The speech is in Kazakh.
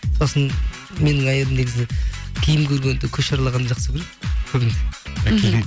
сосын менің әйелім негізі киім көргенді көше аралағанды жақсы көреді көбіне мхм